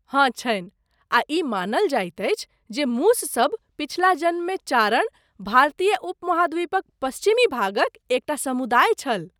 हँ छनि, आ ई मानल जाइत अछि जे मूससभ पछिला जन्ममे चारण, भारतीय उपमहाद्वीपक पश्चिमी भागक एक टा समुदाय, छल।